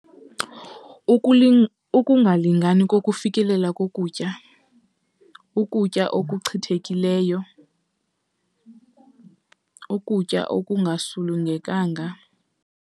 Ukungalingani kokufikelela kokutya, ukutya okuchithekileyo, ukutya okungasulungekanga.